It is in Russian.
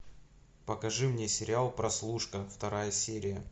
покажи мне сериал прослушка вторая серия